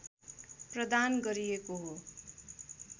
प्रदान गरिएको हो